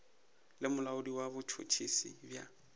le molaodi wa botšhotšhisi bja